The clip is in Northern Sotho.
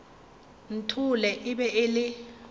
nthole e be e le